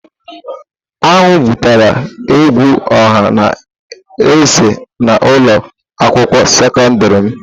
Aṅụ butere egwu ọha na eze na ulo akwukwuo sekọndrị m.